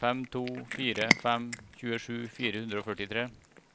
fem to fire fem tjuesju fire hundre og førtitre